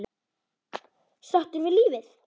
Sáttur við lífið.